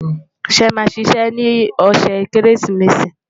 ṣé é má ṣiṣẹ ní ọsẹ kérésìmesì?